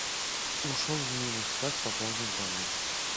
ушел в минус как пополнить баланс